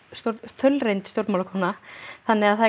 þaulreynd stjórnmálakona þannig að það er